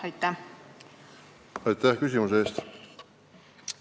Aitäh küsimuse eest!